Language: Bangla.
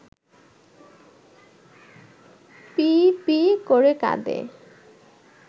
পিঁ পিঁ করে কাঁদে